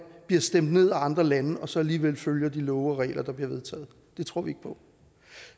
bliver stemt ned af andre lande og så alligevel følger de love og regler der bliver vedtaget det tror vi